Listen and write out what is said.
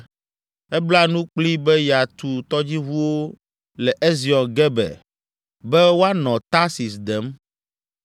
Ebla nu kplii be yeatu tɔdziʋuwo le Ezion Geber be woanɔ Tarsis dem.